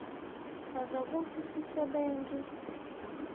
chaza kutsi sisebenti